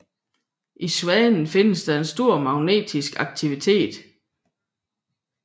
I Svanen findes der stor magnetisk aktivitet